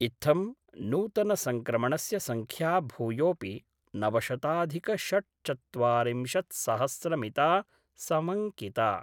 इत्थं नूतन संक्रमणस्य संख्या भूयोपि नवशताधिकषट्चत्वारिंशत्सहस्रमिता समंकिता।